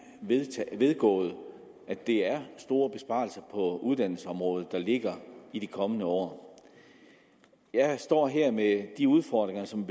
vedgået at det er store besparelser på uddannelsesområdet der ligger i de kommende år jeg står her med de udfordringer som